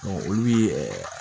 olu ye